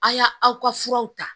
A y'a aw ka furaw ta